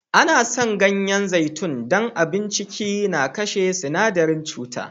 An san ganyen zaitun don abun ciki na kashe sinadaren cuta.